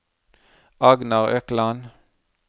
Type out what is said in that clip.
Agnar Økland